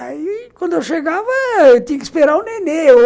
Aí, quando eu chegava, eu tinha que esperar o nenê.